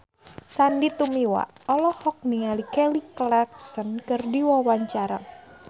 Sandy Tumiwa olohok ningali Kelly Clarkson keur diwawancara